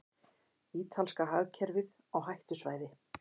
Ítalska hagkerfið á hættusvæði